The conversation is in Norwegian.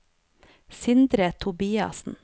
Sindre Tobiassen